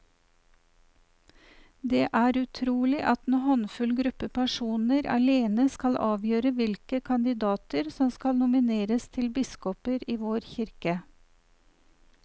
Det er utrolig at en håndfull gruppe personer alene skal avgjøre hvilke kandidater som skal nomineres til biskoper i vår kirke.